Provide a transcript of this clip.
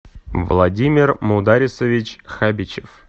владимир мударисович хабичев